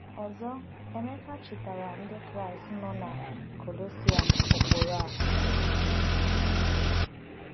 Ọzọ Emeka chetaara Ndị Kraịst nọ na Kolosae ụkpụrụ a.